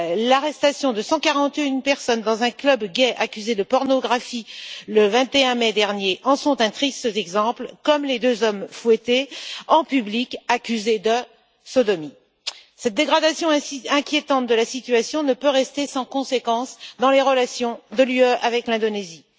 L'arrestation de 141 personnes dans un club gay, au motif de pornographie, le 21 mai dernier, en est un triste exemple, comme les deux hommes fouettés en public, accusés de sodomie. Cette dégradation inquiétante de la situation ne peut rester sans conséquence dans les relations de l'Union avec l'Indonésie.